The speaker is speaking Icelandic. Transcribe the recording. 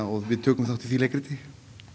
og við tökum þátt í því leikriti